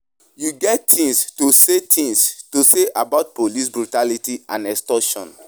You get any thing to say thing to say about police brutality and extortion?